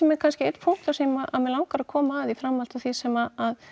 er kannski einn punktur sem að mig langar að koma að í framhaldi af því sem að